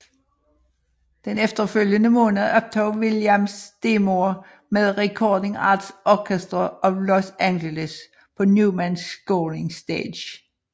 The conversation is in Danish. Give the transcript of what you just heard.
Den efterfølgende måned optog Williams demoer med Recording Arts Orchestra of Los Angeles på Newman Scoring Stage